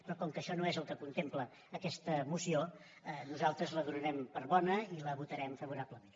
però com que això no és el que contempla aquesta moció nosaltres la donarem per bona i hi votarem favorablement